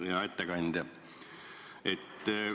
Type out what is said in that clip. Hea ettekandja!